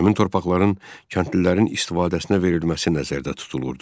Həmin torpaqların kəndlilərin istifadəsinə verilməsi nəzərdə tutulurdu.